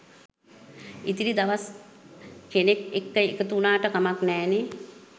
ඉතිරි දවස්කෙනෙක් එක්ක එකතු වුනාට කමක් නෑනෙ